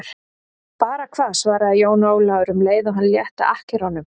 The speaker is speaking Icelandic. Bara hvað, svaraði Jón Ólafur um leið og hann létti akkerunum.